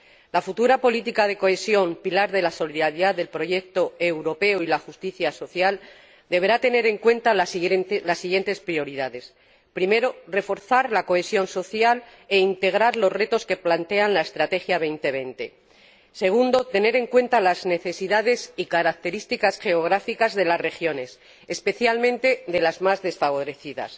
La futura política de cohesión, pilar de la solidaridad del proyecto europeo y de la justicia social, deberá tener en cuenta las siguientes prioridades primero, reforzar la cohesión social e integrar los retos que plantea la estrategia Europa 2020 segundo, tener en cuenta las necesidades y características geográficas de las regiones, especialmente las de las más desfavorecidas